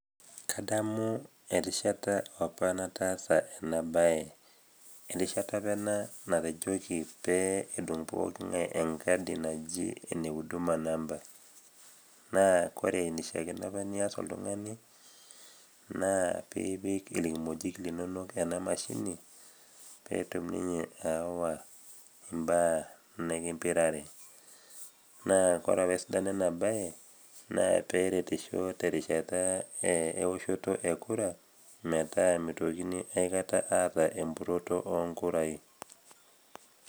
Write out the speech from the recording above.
kadamu erishata apa nataasa ena baye erishata apa ena natejoki pee edung poking'ae enkadi naji ene huduma namba naa kore enishiakino apa nias oltung'ani naa piipik irkimojik linonok ena mashini peetum ninye aawa imbaa nikimpirare naa kore apa esidano ena baye naa peretisho terishata ewoshoto e kura metaa mitokini aikata aata empuroto onkurai.